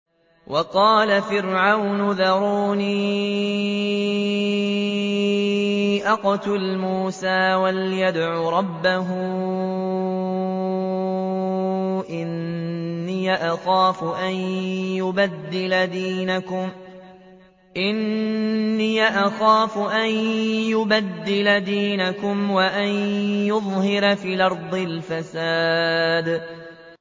وَقَالَ فِرْعَوْنُ ذَرُونِي أَقْتُلْ مُوسَىٰ وَلْيَدْعُ رَبَّهُ ۖ إِنِّي أَخَافُ أَن يُبَدِّلَ دِينَكُمْ أَوْ أَن يُظْهِرَ فِي الْأَرْضِ الْفَسَادَ